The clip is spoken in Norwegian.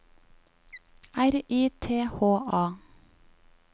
R I T H A